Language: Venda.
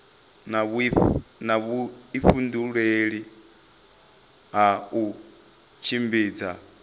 na vhuifhinduleli ha u tshimbidza